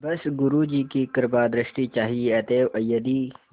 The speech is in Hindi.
बस गुरु जी की कृपादृष्टि चाहिए अतएव यदि